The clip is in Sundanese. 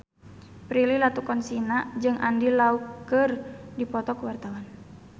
Prilly Latuconsina jeung Andy Lau keur dipoto ku wartawan